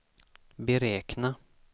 beräkna